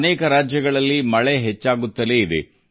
ಹಲವು ರಾಜ್ಯಗಳಲ್ಲಿ ಮಳೆ ಹೆಚ್ಚುತ್ತಿದೆ